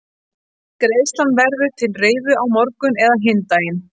Greiðslan verður til reiðu á morgun eða hinn daginn.